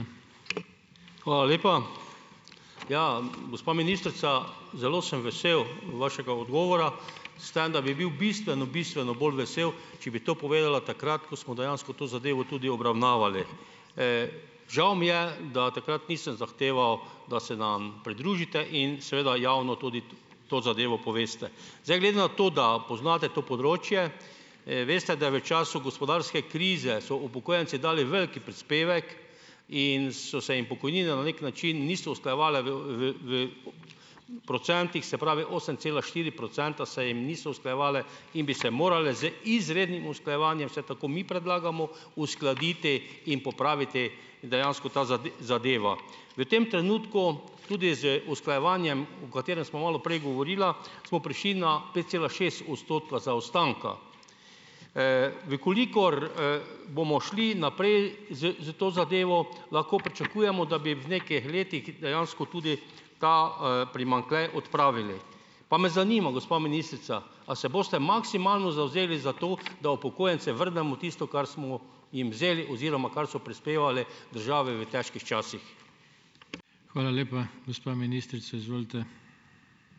Hvala lepa. Ja, gospa ministrica, zelo sem vesel vašega odgovora, s tem da bi bil bistveno, bistveno bolj vesel, če bi to povedala takrat, ko smo dejansko to zadevo tudi obravnavali. žal mi je, da takrat nisem zahteval, da se nam pridružite in seveda javno tudi to zadevo poveste. Zdaj, glede na to, da poznate to področje, veste, da je v času gospodarske krize so upokojenci dali veliki prispevek in so se jim pokojnine na neki način niso usklajevale v v v procentih, se pravi, osem cela štiri procenta se jim niso usklajevale, in bi se morale z izrednim usklajevanjem, vsaj tako mi predlagamo, uskladiti in popraviti dejansko to zadevo. V tem trenutku tudi z usklajevanjem, o katerem sem malo prej govorila, smo prišli na pet cela šest odstotka zaostanka. v kolikor, bomo šli naprej s s to zadevo, lahko pričakujemo, da bi v nekih letih dejansko tudi ta, primanjkljaj odpravili. Pa me zanima, gospa ministrica, a se boste maksimalno zavzeli za to, da upokojencem vrnemo tisto, kar smo jim vzeli oziroma kar so prispevali državi v težkih časih.